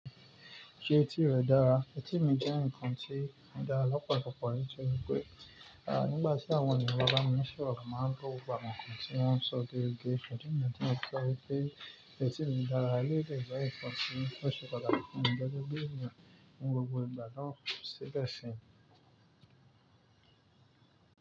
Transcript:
Ṣé etí rẹ dára? Etí mi jẹ́ nǹkan tí o dára lọ́pọ̀ lọ̀pọ̀ nítorí pé, nígbà tí àwọn ènìyàn bá bá mi ṣoro mo máa ń gbọ́ gbogbo nǹkan tí wọ́n ń sọ géregeé. Ṣùgbọ́n tí mo fẹ́ sọ ni pé etí mi dára ni ó jẹ́ ẹ̀gbọ́n nǹkan tí ó ṣe pàtàkì fún mi gẹ́gẹ́ bí i gbogbo ìgbà lọ síbẹ̀ sí.